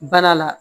Bana la